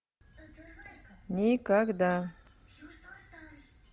никогда